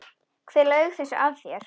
Hver laug þessu að þér?